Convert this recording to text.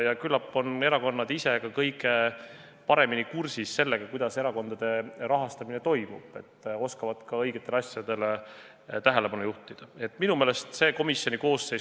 Ja küllap on erakonnad ka kõige paremini kursis sellega, kuidas erakondade rahastamine toimub, nii oskavad nad ka õigetele asjadele tähelepanu pöörata.